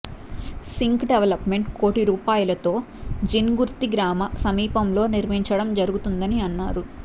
sync development కోటి రూపాయాలతో జిన్గుర్తి గ్రామ సమీపంలో నిర్మించడం జరుగుతుందని అన్నారు